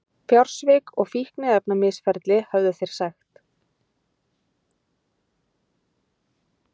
Fjársvik og fíkniefnamisferli, höfðu þeir sagt.